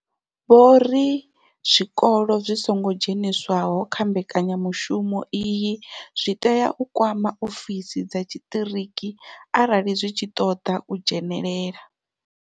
Vho ri zwikolo zwi songo dzheniswaho kha mbekanyamushumo iyi zwi tea u kwama ofisi dza tshiṱiriki arali zwi tshi khou ṱoḓa u dzhenela.